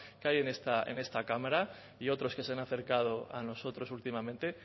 que hay en esta cámara y otros que se han acercado a nosotros últimamente